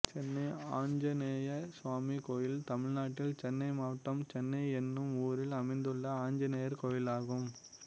சென்னை ஆஞ்சநேய சுவாமி கோயில் தமிழ்நாட்டில் சென்னை மாவட்டம் சென்னை என்னும் ஊரில் அமைந்துள்ள ஆஞ்சநேயர் கோயிலாகும்